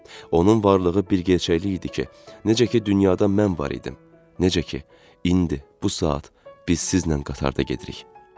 Onun varlığı bir gerçəklik idi ki, necə ki dünyada mən var idim, necə ki, indi bu saat biz sizinlə qatarda gedirik.